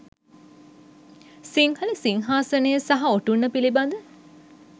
සිංහල සිංහාසනය සහ ඔටුන්න පිළිබඳ